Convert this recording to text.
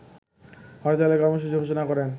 হরতালের কর্মসূচি ঘোষণা করেন